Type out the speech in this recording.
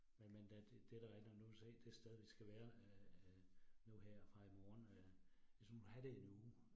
Men men da det der er der nu du kan se, det sted vi skal være øh nu her fra i morgen øh ligesom have det i en uge